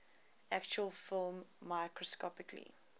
actual film microscopically